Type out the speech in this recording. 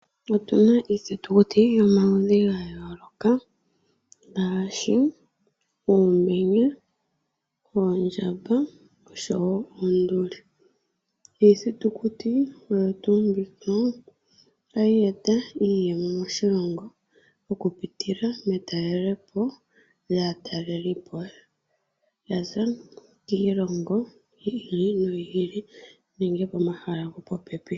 Otu na iithitukuti yomaludhi ga yooloka ngaashi uumenye, oondjamba oshowo oonduli. Iithitukuti oyo tuu mbino ohayi e ta iiyemo moshilongo oku pitila metalelepo lyaatalelipo ya za kiilongo yi ili noyi ili nenge pomahala gopopepi.